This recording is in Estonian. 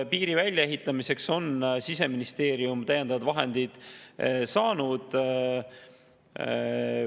Piiri väljaehitamiseks on Siseministeerium täiendavad vahendid saanud.